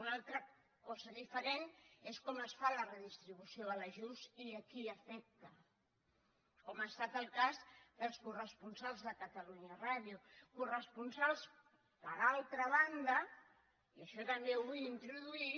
una altra cosa diferent és com es fa la redistribució de l’ajust i a qui afecta com ha estat el cas dels corresponsals de catalunya ràdio corresponsals per altra banda i això també ho vull introduir